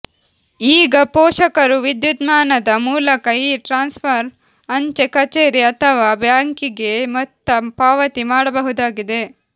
ಈಗ ಪೋಷಕರು ವಿದ್ಯುನ್ಮಾನದ ಮೂಲಕ ಈ ಟ್ರಾನ್ಸ್ವರ್ ಅಂಚೆ ಕಚೇರಿ ಅಥವಾ ಬ್ಯಾಂಕಿಗೆ ಮೊತ್ತ ಪಾವತಿ ಮಾಡಬಹುದಾಗಿದೆ